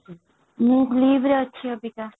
ମୁଁ ରେ ଅଛି ଅବିକା